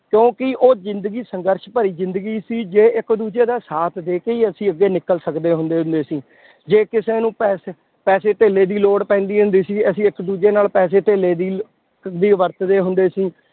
ਕਿਉਂਕਿ ਉਹ ਜ਼ਿੰਦਗੀ ਸੰਘਰਸ਼ ਭਰੀ ਜ਼ਿੰਦਗੀ ਸੀ, ਜੇ ਇੱਕ ਦੂਜੇ ਦਾ ਸਾਥ ਦੇ ਕੇ ਹੀ ਅਸੀਂ ਅੱਗੇ ਨਿਕਲ ਸਕਦੇ ਹੁੰਦੇ ਹੁੰਦੇ ਸੀ, ਜੇ ਕਿਸੇ ਨੂੰ ਪੈਸੇ ਪੈਸੇ ਧੇਲੇ ਦੀ ਲੋੜ ਪੈਂਦੀ ਹੁੰਦੀ ਸੀ, ਅਸੀਂ ਇੱਕ ਦੂਜੇ ਨਾਲ ਪੈਸੇ ਧੇਲੇ ਦੀ ਦੀ ਵਰਤਦੇ ਹੁੰਦੇ ਸੀ